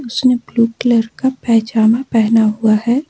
सब लोग blue colour का पिजामा पहना हुआ है।